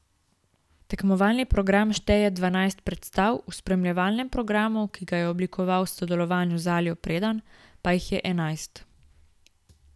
Tekmovalni program šteje dvanajst predstav, v spremljevalnem programu, ki ga je oblikoval v sodelovanju z Aljo Predan, pa jih je enajst.